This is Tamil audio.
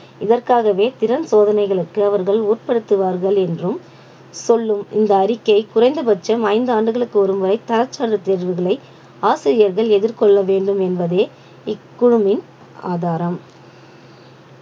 இதற்காகவே திறன் சோதனைகளுக்கு அவர்கள் உட்படுத்துவார்கள் என்றும் சொல்லும் இந்த அறிக்கை குறைந்தபட்சம் ஐந்து ஆண்டுகளுக்கு ஒருமுறை தர தேர்வுகளை ஆசிரியர்கள் எதிர்கொள்ள வேண்டும் என்பதே இக்குழுமின் ஆதாரம்